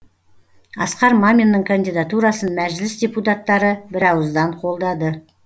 асқар маминнің кандидатурасын мәжіліс депутаттары бірауыздан қолдады